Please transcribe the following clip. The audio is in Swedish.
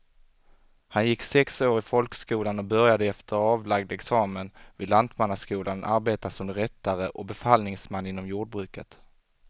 Han gick sex år i folkskolan och började efter avlagd examen vid lantmannaskolan arbeta som rättare och befallningsman inom jordbruket.